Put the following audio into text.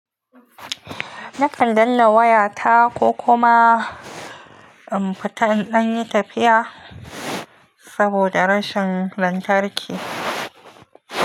Nakan danna wayata ko kuma in fita in ɗanyi tafiya saboda rashin lantarki.